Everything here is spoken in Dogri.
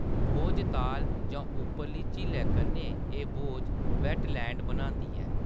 भोजताल जां उप्परली झीलै कन्नै, एह्‌‌ भोज वेट्टलैंड बनांदी ऐ।